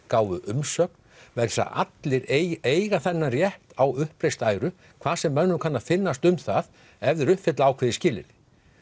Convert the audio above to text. gáfu umsögn vegna þess að allir eiga þennan rétt á uppreist æru hvað sem mönnum kann að finnast um það ef þeir uppfylla ákveðin skilyrði